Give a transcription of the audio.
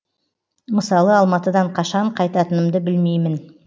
мысалы алматыдан қашан қайтатынымды білмеймін